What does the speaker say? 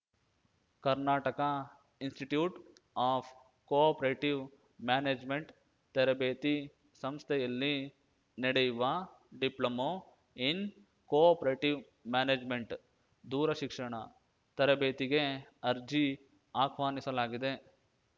Karnataka institute of cooperative management ತರಬೇತಿ ಸಂಸ್ಥೆಯಲ್ಲಿ ನಡೆಯುವ ಡಿಪ್ಲೊಮೊ ಇನ್‌ ಕೋಆಪರೇಟಿವ್‌ ಮ್ಯಾನೇಜ್‌ಮೆಂಟ್‌ ದೂರ ಶಿಕ್ಷಣ ತರಬೇತಿಗೆ ಅರ್ಜಿ ಆಹ್ವಾನಿಸಲಾಗಿದೆ